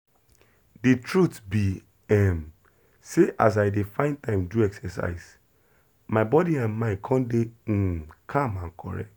the truth be um sey as i dey find time do exercise my body and mind come dey um calm and correct.